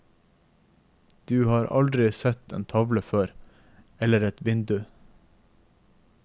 Du har aldri sett en tavle før, eller et vindu.